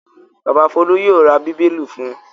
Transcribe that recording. Bàbá Folú yóò ra Bíbélì fún un.